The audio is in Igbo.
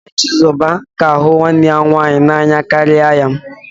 Nne Chizoba ka hụ nwanne ya nwaanyị n'anya karịa ya